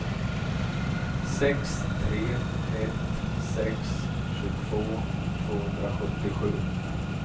sex tre ett sex tjugotvå tvåhundrasjuttiosju